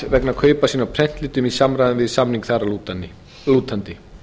vegna kaupa sinna á prentlitum í samræmi við samning þar að lútandi